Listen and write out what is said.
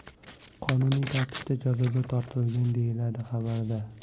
qonuniy tartibda jazoga tortilgan, deyiladi xabarda.